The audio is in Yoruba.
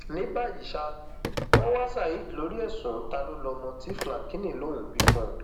ní báyìí ṣá wọn ń wa saheed lórí ẹsùn ta ló lọmọ tí flákíny lòún bí fún un